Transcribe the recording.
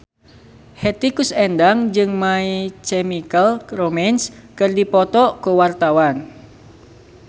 Hetty Koes Endang jeung My Chemical Romance keur dipoto ku wartawan